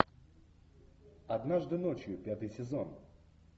однажды ночью пятый сезон